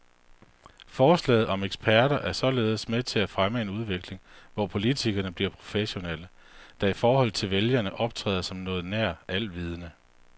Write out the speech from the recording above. Forslaget om eksperter er således med til at fremme en udvikling, hvor politikerne bliver professionelle, der i forhold til vælgerne optræder som noget nær alvidende.